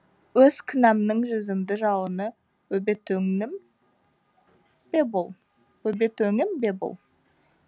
өз күнәмның жүзімді жалыны өбетөңнім бе бұл өбет өңім бе бұл